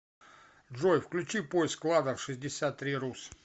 джой включи поиск кладов шестьдесят три рус